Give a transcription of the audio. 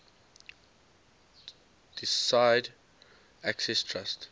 deeside access trust